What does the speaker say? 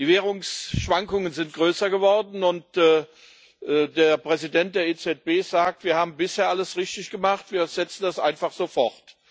Die Währungsschwankungen sind größer geworden, und der Präsident der EZB sagt Wir haben bisher alles richtig gemacht, wir setzen das einfach so fort.